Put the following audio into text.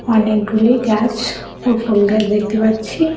অনেকগুলি গাছ ও ফল গাছ দেখতে পাচ্ছি।